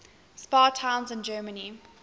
spa towns in germany